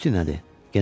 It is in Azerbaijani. Sutti nədir?